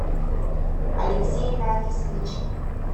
алексей нафисович